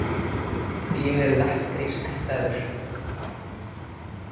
Ég er lakkrísættaður.